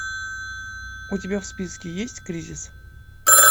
у тебя в списке есть кризис